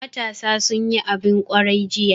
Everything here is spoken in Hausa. Matasa sun yi abin kwarai jiya.